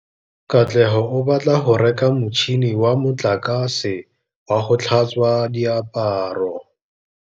Katlego o batla go reka motšhine wa motlakase wa go tlhatswa diaparo.